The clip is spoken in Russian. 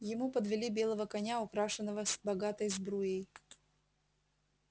ему подвели белого коня украшенного богатой сбруей